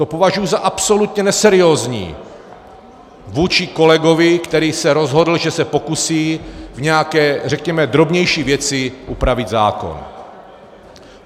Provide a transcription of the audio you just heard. To považuji za absolutně neseriózní vůči kolegovi, který se rozhodl, že se pokusí v nějaké, řekněme, drobnější věci upravit zákon.